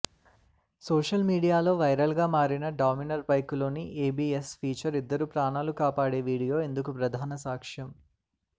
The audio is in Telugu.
సోషల్ మీడియాలో వైరల్గా మారిన డామినర్ బైకులోని ఏబిఎస్ ఫీచర్ ఇద్దరు ప్రాణాలను కాపాడే వీడియో ఇందుకు ప్రధాన సాక్ష్యం